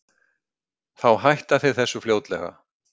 Þá hætta þeir þessu fljótlega.